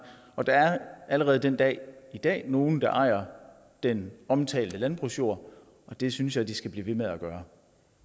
og der er allerede den dag i dag nogle der ejer den omtalte landbrugsjord og det synes jeg de skal blive ved med at gøre